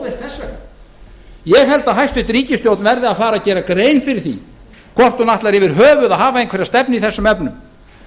vegna ég held að hæstvirt ríkisstjórn verði að fara að gera grein fyrir því hvort hún ætlar yfir höfuð að hafa einhverja stefnu í þessum efnum